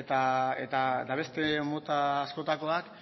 eta beste mota askotakoak